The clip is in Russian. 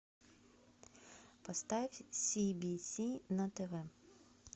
поставь си би си на тв